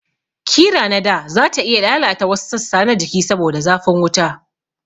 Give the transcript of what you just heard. Kira nada zata iya lalata wasu sassa na jiki saboda zafin wuta